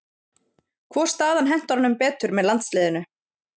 Hvor staðan hentar honum betur með landsliðinu?